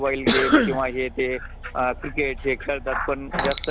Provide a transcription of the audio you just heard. तर एक बघायचे म्हणल तर